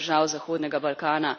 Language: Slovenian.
samo držav zahodnega Balkana.